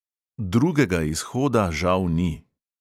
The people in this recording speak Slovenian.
Drugega izhoda žal ni.